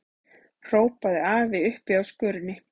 hrópaði afi uppi á skörinni.